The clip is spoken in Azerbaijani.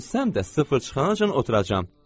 Ölsəm də sıfır çıxana qədər oturacam.